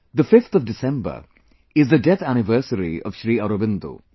the 5thDecember is the death anniversary of Sri Aurobindo